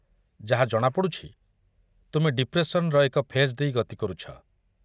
ଯାହା ଜଣାପଡ଼ୁଛି, ତୁମେ ଡିପ୍ରେସନର ଏକ ଫେଜ୍ ଦେଇ ଗତି କରୁଛ।